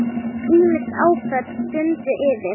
Ýmis áföll dundu yfir.